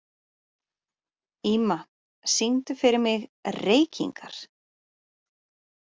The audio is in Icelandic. Ýma, syngdu fyrir mig „Reykingar“.